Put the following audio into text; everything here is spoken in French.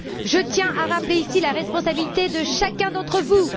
Je tiens à rappeler, ici, la responsabilité de chacun d'entre vous.